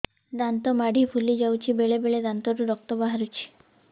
ଦାନ୍ତ ମାଢ଼ି ଫୁଲି ଯାଉଛି ବେଳେବେଳେ ଦାନ୍ତରୁ ରକ୍ତ ବାହାରୁଛି